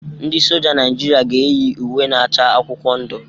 Ndị Soja Naịjirịa ga-eyi uwe na-acha akwụkwọ ndụ.